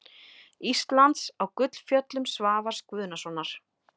Íslands á Gullfjöllum Svavars Guðnasonar.